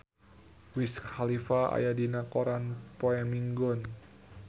Wiz Khalifa aya dina koran poe Minggon